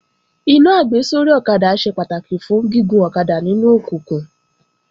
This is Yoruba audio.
Iná àgbésórí ọ̀kadà ṣe pàtàkì fún gígun ọ̀kadà nínú òkùnkùn